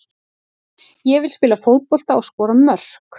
Ég vil spila fótbolta og skora mörk.